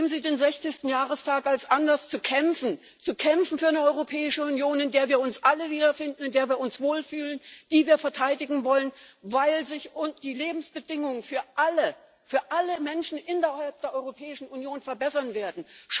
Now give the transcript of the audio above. Nehmen Sie den 60. Jahrestag als Anlass zu kämpfen, zu kämpfen für eine Europäische Union, in der wir uns alle wiederfinden, in der wir uns wohlfühlen, die wir verteidigen wollen, weil sich die Lebensbedingungen für alle für alle Menschen innerhalb der Europäischen Union verbessern werden.